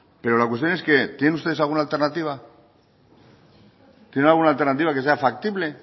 pero la cuestión es que tienen ustedes alguna alternativa tiene alguna alternativa que sea factible